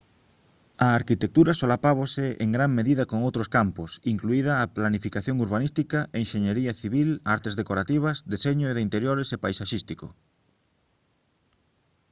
a arquitectura solápase en gran medida con outros campos incluída a planificación urbanística enxeñería civil artes decorativas deseño de interiores e paisaxístico